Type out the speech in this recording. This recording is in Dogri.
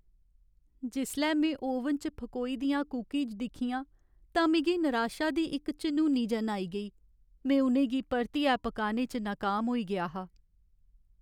जिसलै में ओवन च फकोई दियां कुकीज दिक्खियां तां मिगी निराशा दी इक झनूनी जन आई गेई। में उ'नें गी परतियै पकाने च नकाम होई गेआ हा।